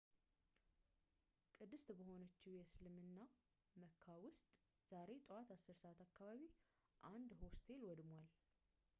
ቅድስት በሆነችው የእስልምና መካ ውስጥ ዛሬ ጠዋት 10 ሰዓት አካባቢ አንድ ሆስቴል ወድሟል